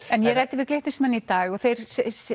en ég ræddi við Glitnismenn í dag og þeir